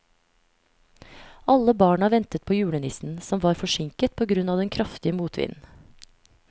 Alle barna ventet på julenissen, som var forsinket på grunn av den kraftige motvinden.